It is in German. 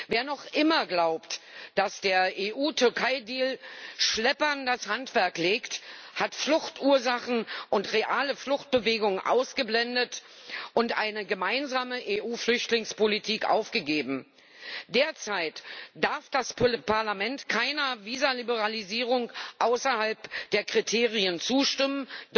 Wer noch immer glaubt, dass der EU Türkei Deal Schleppern das Handwerk legt, hat Fluchtursachen und reale Fluchtbewegungen ausgeblendet und eine gemeinsame EU-Flüchtlingspolitik aufgegeben. Derzeit darf das Parlament keiner Visaliberalisierung außerhalb der Kriterien zustimmen